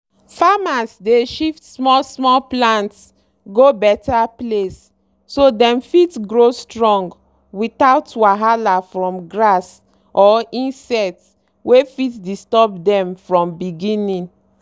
farmers dey shift small plant go better place so dem fit grow strong without wahala from grass or insects wey fit disturb dem from beginning.